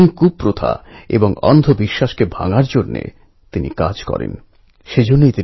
আর পাহাড়কে জাগাতে হবে গান গেয়ে